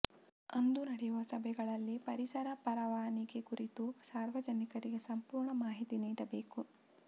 ಅಂದು ನಡೆಯುವ ಸಭೆಗಳಲ್ಲಿ ಪರಿಸರ ಪರವಾನಿಗೆ ಕುರಿತು ಸಾರ್ವಜನಿಕರಿಗೆ ಸಂಪೂರ್ಣ ಮಾಹಿತಿ ನೀಡಬೇಕು